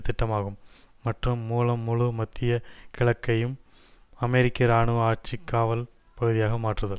திட்டமாகும் மற்றும் மூலம் முழு மத்திய கிழக்கையும் அமெரிக்க இராணுவ ஆட்சி காவல் பகுதியாக மாற்றுதல்